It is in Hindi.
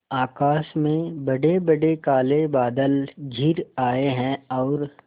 आकाश में बड़ेबड़े काले बादल घिर आए हैं और